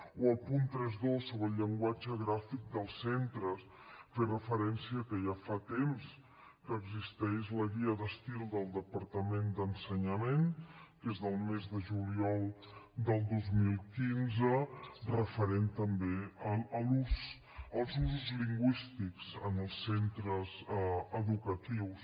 o el punt trenta dos sobre el llenguatge gràfic dels centres fer referència a que ja fa temps que existeix la guia d’estil del departament d’ensenyament que és del mes de juliol del dos mil quinze referent també als usos lingüístics en els centres educatius